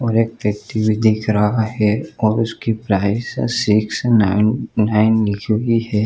और एक व्यक्ति भी दिख रहा है और उसकी प्राइस है सिक्स _नाइन _नाइन लिखी हुई है।